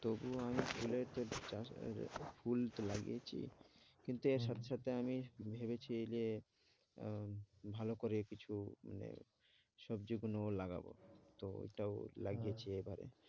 তবুও আমি ফুলের যে চাষ ফুল তো লাগিয়েছি কিন্তু এর সাথে সাথে আমি ভেবেছি যে আহ ভালো করে কিছু মানে সবজিগুলো লাগাবো, তো ওইটাও লাগিয়েছি এবারে।